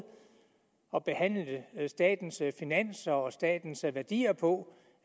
at behandle statens finanser og statens værdier på